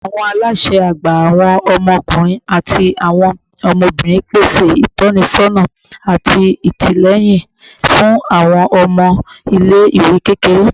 Awọn alaṣẹ agba, awọn ọmọkunrin ati awọn ọmọbirin, pese itọnisọna ati atilẹyin fun awọn ọmọ ile-iwe kékeré